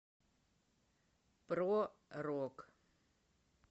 про рок